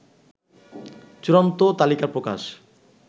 চূড়ান্ত তালিকা প্রকাশ